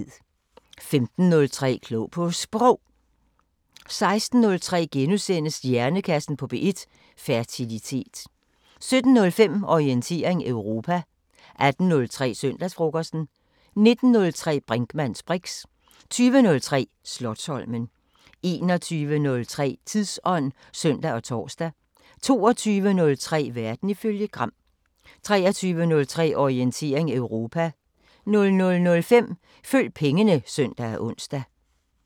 15:03: Klog på Sprog 16:03: Hjernekassen på P1: Fertilitet * 17:05: Orientering Europa 18:03: Søndagsfrokosten 19:03: Brinkmanns briks 20:03: Slotsholmen 21:03: Tidsånd (søn og tor) 22:03: Verden ifølge Gram 23:03: Orientering Europa 00:05: Følg pengene (søn og ons)